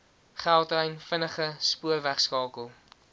gautrain vinnige spoorwegskakel